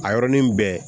A yɔrɔnin bɛɛ